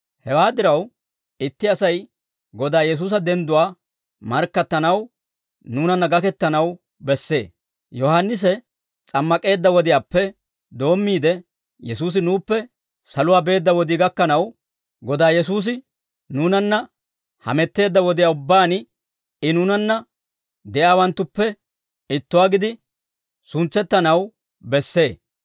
Hewaa diraw, itti Asay Godaa Yesuusa dendduwaa markkattanaw, nuunanna gakettanaw bessee; Yohaannisi s'ammak'eedda wodiyaappe doommiide, Yesuusi nuuppe saluwaa beedda wodii gakkanaw, Godaa Yesuusi nuunanna hametteedda wodiyaa ubbaan I nuunanna de'iyaawanttuppe ittuwaa gidi suntsettanaw bessee.